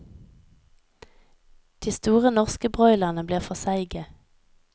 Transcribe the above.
De store, norske broilerne blir for seige.